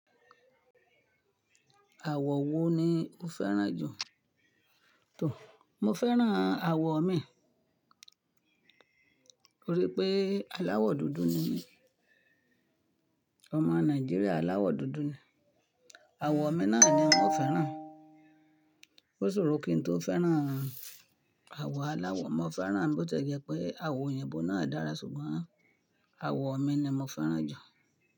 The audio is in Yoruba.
Àwọ̀ wo ni o fẹ́ràn jù, tó? Mo fẹ́ràn àwọ̀ mi nítorí pé aláwọ̀ dúdú ni mí. Ọmọ Nàìjíríà aláwọ̀ dúdú ni. Àwọ̀ mi náà ni n o fẹ́ràn. Ó ṣòro kí n tó fẹ́ràn àwọ̀ aláwọ̀. Mo fẹ́ràn bo ti ẹ jẹ́ pé àwọ̀ òyìnbó náà dára ṣùgbọ́n àwọ̀ mi ni mo fẹ́ràn jù.